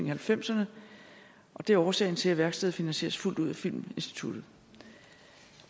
halvfemserne og det er årsagen til at værkstedet finansieres fuldt ud af filminstituttet